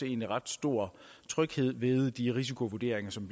egentlig ret stor tryghed ved de risikovurderinger som